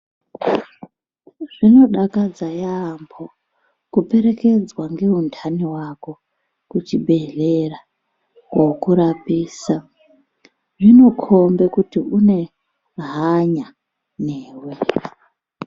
Zvinodakadza yaamho kuperekedzwa ngehundani hwako kuchibhedhlera kokurapisa zvinokombe kuti une hanya newe.